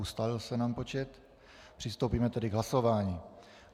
Ustálil se nám počet, přistoupíme tedy k hlasování.